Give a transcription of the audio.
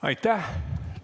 Aitäh!